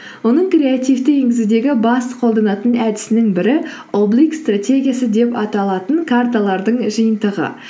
оның креативті енгізудегі бас қолданатын әдісінің бірі облик стратегиясы деп аталатын карталардың жиынтығы